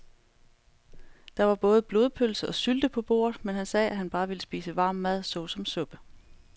Der var både blodpølse og sylte på bordet, men han sagde, at han bare ville spise varm mad såsom suppe.